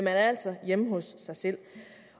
er altså hjemme hos sig selv